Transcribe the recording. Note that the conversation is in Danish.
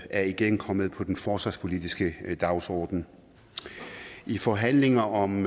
er igen kommet på den forsvarspolitiske dagsorden i forhandlingerne om